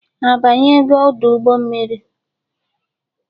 A banyego udu mmiri?